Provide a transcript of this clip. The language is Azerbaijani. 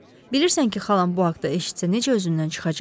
Bilirsən ki, xalam bu haqda eşitsə necə özündən çıxacaq?